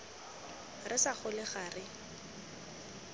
re sa gole ga re